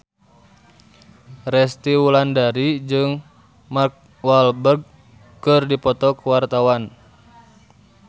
Resty Wulandari jeung Mark Walberg keur dipoto ku wartawan